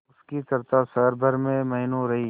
उसकी चर्चा शहर भर में महीनों रही